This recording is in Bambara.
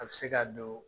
A bɛ se ka don